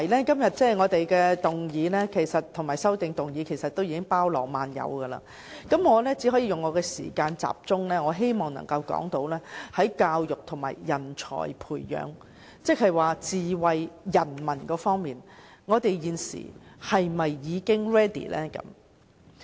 今天的議案和修正案已經包羅萬有，我希望利用我的發言時間集中談論教育和人才培養，即在智慧市民方面，我們現時是否已經 ready。